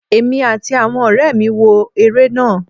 emí atí awọn ọrẹmi wọ ere náá